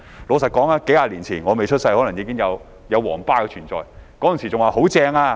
老實說，數十年前我未出生時可能"皇巴"已存在，那時人們會說："太棒了！